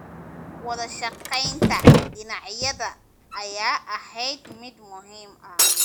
Wadashaqeynta dhinacyada ayaa ahayd mid muhiim ah.